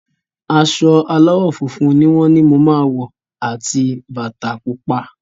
Aṣọ aláwọ̀ funfun ni wọ́n ni mo máa wọ̀ àti bata pupa.